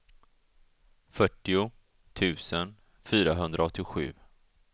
fyrtio tusen fyrahundraåttiosju